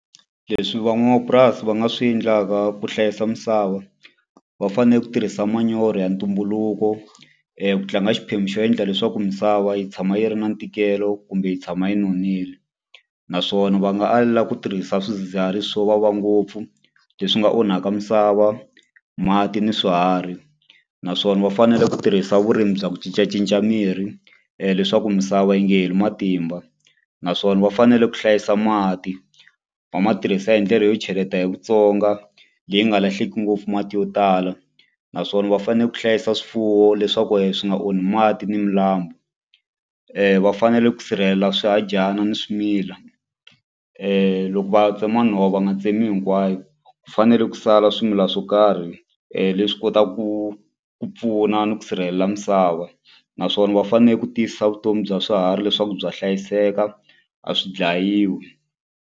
Leswi van'wamapurasi va nga swi endlaka ku hlayisa misava va fane ku tirhisa manyoro ya ntumbuluko ku tlanga xiphemu xo endla leswaku misava yi tshama yi ri na ntikelo kumbe yi tshama yi nonile naswona va nga alela ku tirhisa swidzidziharisi swo vava ngopfu leswi nga onhaka misava mati ni swiharhi naswona va fanele ku tirhisa vurimi bya ku cincacinca mirhi leswaku misava yi nga heli matimba naswona va fanele ku hlayisa mati va ma tirhisa hi ndlela yo cheleta hi Vutsonga leyi nga lahleki ngopfu mati yo tala naswona va fane ku hlayisa swifuwo leswaku swi nga onhi mati ni milambu va fanele ku sirhelela swihadyana ni swimila loko va tsema nhova va nga tsemi hinkwayo ku fanele ku sala swimilana swo karhi leswi kota ku ku pfuna ni ku sirhelela misava naswona va fane ku tiyisisa vutomi bya swiharhi leswaku bya hlayiseka a swi dlayiwi.